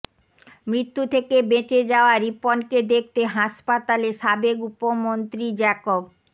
মৃত্যু থেকে বেঁচে যাওয়া রিপনকে দেখতে হাসপাতালে সাবেক উপমন্ত্রী জ্যাকব